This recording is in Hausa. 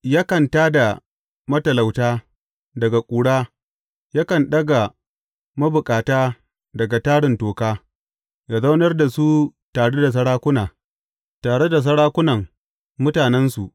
Yakan tā da matalauta daga ƙura yakan ɗaga mabukata daga tarin toka; ya zaunar da su tare da sarakuna, tare da sarakunan mutanensu.